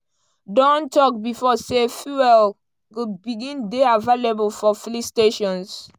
don tok bifor say fuel go begin dey available for filling stations.